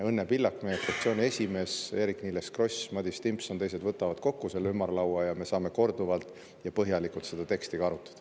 Õnne Pillak, meie fraktsiooni esimees, Eerik-Niiles Kross, Madis Timpson ja teised kokku selle ümarlaua ja me saame korduvalt ja põhjalikult seda teksti arutada.